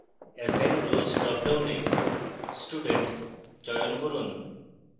assign roles dropdown student চয়ন করুন